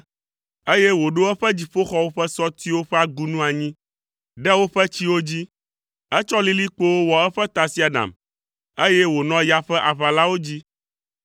eye wòɖo eƒe dziƒoxɔwo ƒe sɔtiwo ƒe agunu anyi ɖe woƒe tsiwo dzi. Etsɔ lilikpowo wɔ eƒe tasiaɖam, eye wònɔ ya ƒe aʋalawo dzi.